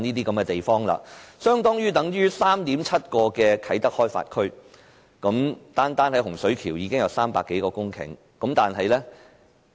這些土地的面積相等於 3.7 個啟德開發區，單單洪水橋已有300多公頃棕地。